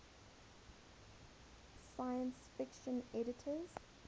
science fiction editors